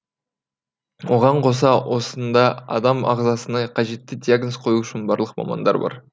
оған қоса осында адам ағзасына қажетті диагноз қою үшін барлық мамандар бар